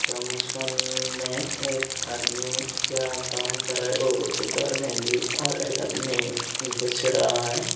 Junction में एक आदमी क्या काम कर रहे हो उधर में भी और एकदम में घुस रहा है।